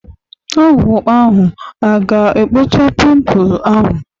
Ọgwu ahu aga-ekpocha pimpul ahu?